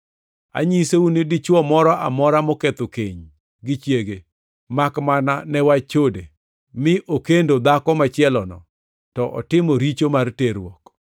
Anyisou ni dichwo moro amora moketho keny gi chiege, makmana ne wach chode, mi okendo dhako machielo, to otimo richo mar terruok.”